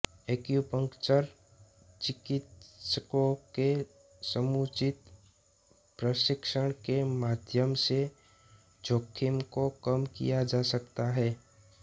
acupuncture चिकित्सकों के समुचित प्रशिक्षण के माध्यम से जोखिम को कम किया जा सकता है